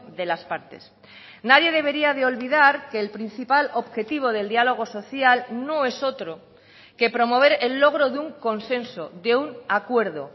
de las partes nadie debería de olvidar que el principal objetivo del diálogo social no es otro que promover el logro de un consenso de un acuerdo